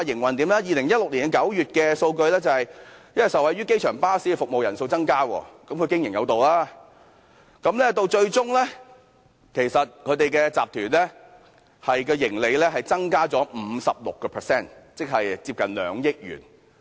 根據2016年9月的數據，受惠於機場巴士服務的乘客量增加——即是它經營有道——新創建集團的盈利增加了 56%， 即接近2億元。